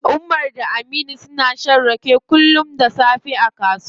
Umar da Aminu suna shan rake kullum da safe a kasuwa.